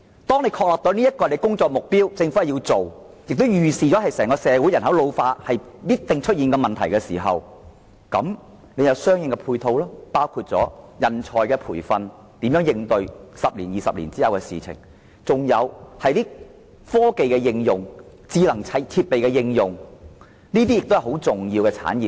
當政府確定這是工作目標的時候，而且預測整個社會人口必定會因老化而出現這些問題的時候，便須進行相關的配套工作，包括培訓人才以應對10至20年後的情況，在加上科技、智能設備的應用，這些都是十分重要的產業。